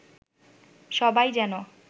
সবাই যেন